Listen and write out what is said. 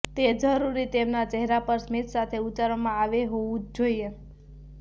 તે જરૂરી તેમના ચહેરા પર સ્મિત સાથે ઉચ્ચારવામાં આવે હોવું જ જોઈએ